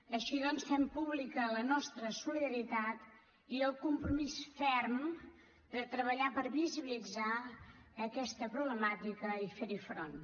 així doncs fem pública la nostra solidaritat i el compromís ferm de treballar per visibilitzar aquesta problemàtica i fer hi front